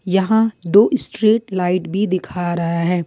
यहां दो street light भी दिख रहा है।